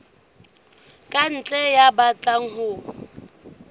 ka ntle ya batlang ho